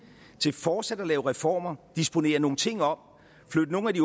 til fortsat at lave reformer disponere nogle ting om flytte nogle af de